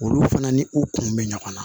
Olu fana ni u kun bɛ ɲɔgɔn na